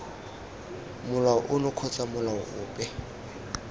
molao ono kgotsa molao ope